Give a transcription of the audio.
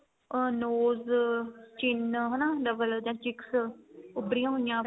ਮਤਲਬ ਅਹ nose chin ਹਨਾ double ਵਾਲੀਆਂ cheeks ਉਬਰੀਆਂ ਹੋਈਆਂ